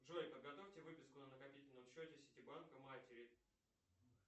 джой подготовьте выписку на накопительном счете сити банка матери